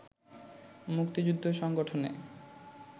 মুক্তিযুদ্ধ সংগঠনে